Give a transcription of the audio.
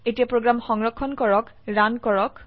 এতিয়া প্ৰোগ্ৰাম সংৰক্ষণ কৰক ৰান কৰক